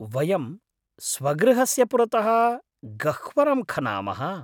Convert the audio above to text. वयं स्वगृहस्य पुरतः गह्वरं खनामः।